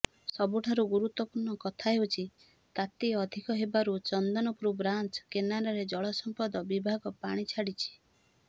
ସବୁଠାରୁ ଗୁରୁତ୍ୱପୂର୍ଣ୍ଣ କଥା ହେଉଛି ତାତି ଅଧିକ ହେବାରୁ ଚନ୍ଦନପୁର ବ୍ରାଞ୍ଚ କେନାଲରେ ଜଳସମ୍ପଦ ବିଭାଗ ପାଣି ଛାଡ଼ିଛି